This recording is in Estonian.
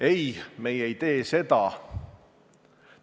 Ei, meie ei tee seda!